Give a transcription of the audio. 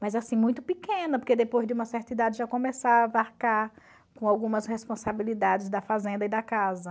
Mas, assim, muito pequena, porque depois de uma certa idade já começava a arcar com algumas responsabilidades da fazenda e da casa.